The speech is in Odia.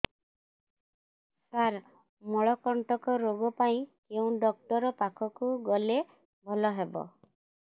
ସାର ମଳକଣ୍ଟକ ରୋଗ ପାଇଁ କେଉଁ ଡକ୍ଟର ପାଖକୁ ଗଲେ ଭଲ ହେବ